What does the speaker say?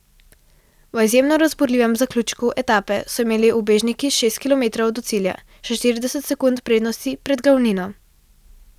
V izjemno razburljivem zaključku etape so imeli ubežniki šest kilometrov do cilja še štirideset sekund prednosti pred glavnino.